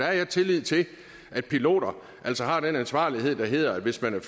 jeg har tillid til at piloter altså har den ansvarlighed der hedder at hvis man